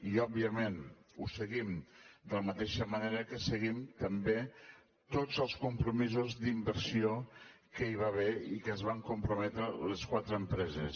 i òbviament ho seguim de la mateixa manera que seguim també tots els compromisos d’inversió que hi va haver i que s’hi van comprometre les quatre empreses